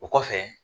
O kɔfɛ